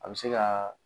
A bɛ se ka